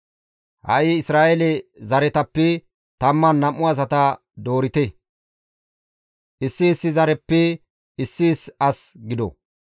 Ha7i Isra7eele zaretappe 12 asata doorite; issi issi zareppe issi issi as gido.